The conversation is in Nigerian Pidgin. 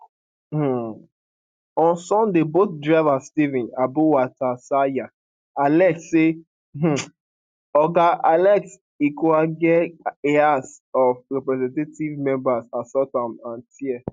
um on sunday bolt driver stephen abuwatseya allege say um oga alex ikwechegh a house of representative member assault am and tear